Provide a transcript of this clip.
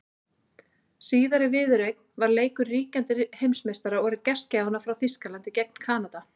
Síðari viðureignin var leikur ríkjandi heimsmeistara og gestgjafanna frá Þýskalandi gegn Kanada.